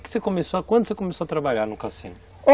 Quando você começou a trabalhar no cassino?